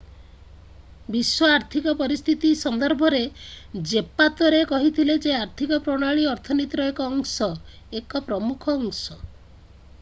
ବିଶ୍ବ ଆର୍ଥିକ ପରିସ୍ଥିତି ସନ୍ଦର୍ଭରେ ଜେପାତେରୋ କହିଥିଲେ ଯେ ଆର୍ଥିକ ପ୍ରଣାଳୀ ଅର୍ଥନୀତିର ଏକ ଅଂଶ ଏକ ପ୍ରମୁଖ ଅଂଶ।